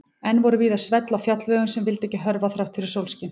Enn voru víða svell á fjallvegum sem vildu ekki hörfa þrátt fyrir sólskin.